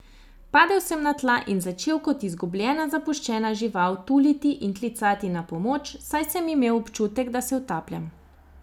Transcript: Padel sem na tla in začel kot izgubljena, zapuščena žival tuliti in klicati na pomoč, saj sem imel občutek, da se utapljam.